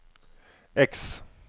X